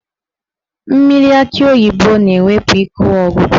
Mmiri akị oyibo na-ewepụ ike ọgwụgwụ.